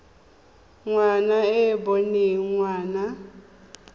ngwana e e boneng ngwana